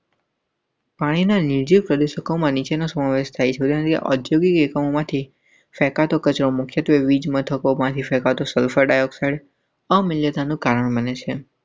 આઈના નિજી પ્રદેશોમાં નીચેનાનો સમાવેશ થાય છે. ઔદ્યોગિક એકમોમાંથી ફેંકાતો કચરો મુખ્યત્વે વીજમથકો માંથી ફેંકાતો સલ્ફર ડાયોક્સાઇડ.